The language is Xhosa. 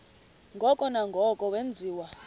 ngoko nangoko wenziwa